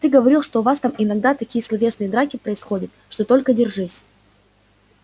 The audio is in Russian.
ты говорил что у вас там иногда такие словесные драки происходят что только держись